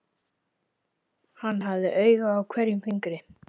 Hann hafði auga á hverjum fingri.